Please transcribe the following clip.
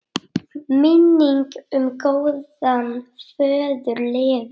Minning um góðan föður lifir.